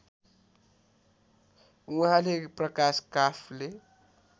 उहाँले प्रकाश काफ्ले